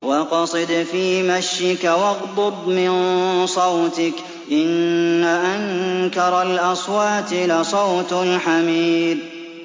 وَاقْصِدْ فِي مَشْيِكَ وَاغْضُضْ مِن صَوْتِكَ ۚ إِنَّ أَنكَرَ الْأَصْوَاتِ لَصَوْتُ الْحَمِيرِ